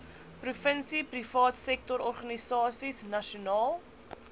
provinsie privaatsektororganisasies nasionaal